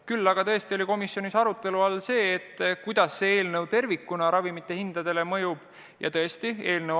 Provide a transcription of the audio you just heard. Küll aga oli komisjonis arutelu all, kuidas eelnõu seadustamine ravimite hindadele mõjuks.